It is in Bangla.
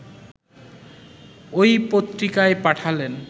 ঐ পত্রিকায় পাঠালেন